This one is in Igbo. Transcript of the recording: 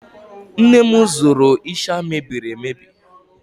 Nne m zụrụ ịsha mebirir emebi